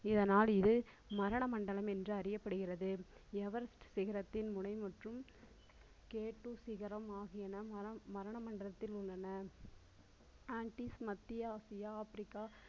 இதனால் இது மரண மண்டலம் என்று அறியப்படுகிறது everest சிகரத்தின் முனை மற்றும், கேட்டூஸ் சிகரம் ஆகியன மரண மண்டலத்தில் உள்ளன ஆன்ட்டிஸ் மத்திய ஆசியா ஆப்பிரிக்கா